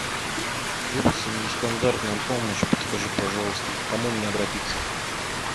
требуется нестандартная помощь подскажи пожалуйста к кому мне обратиться